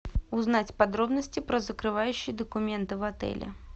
узнать подробности про закрывающие документы в отеле